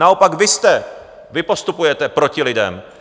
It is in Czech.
Naopak vy jste... vy postupujete proti lidem.